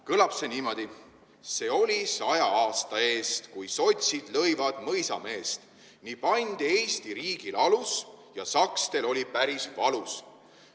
Kõlab see niimoodi: See oli saja aasta eest, kui sotsid lõivad mõisameest, nii pandi Eesti riigil alus ja sakstel oli päris valus.